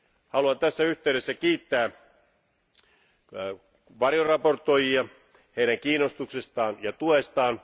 Haluan tässä yhteydessä kiittää varjoesittelijöitä heidän kiinnostuksestaan ja tuestaan.